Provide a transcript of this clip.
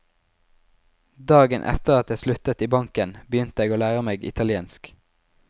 Dagen etter at jeg sluttet i banken, begynte jeg å lære meg italiensk.